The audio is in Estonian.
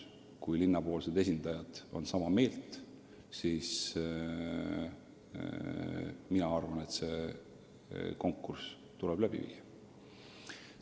Kui linna esindajad on sama meelt, siis see konkurss tuleb läbi viia.